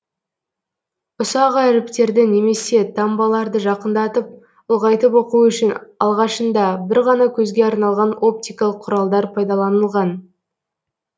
ұсақ әріптерді немесе таңбаларды жақындатып ұлғайтып оқу үшін алғашында бір ғана көзге арналған оптикалық құралдар пайдаланылған